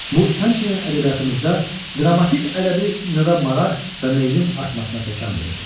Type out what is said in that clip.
Bu, həmçinin ədəbiyyatımızda dramatik ədəbi növə maraq və meylin artmasına təkamül verdi.